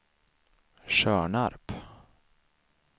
Tjörnarp